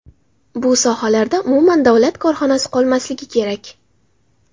Bu sohalarda umuman davlat korxonasi qolmasligi kerak.